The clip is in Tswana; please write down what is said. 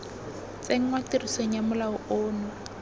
tsenngwa tirisong ga molao ono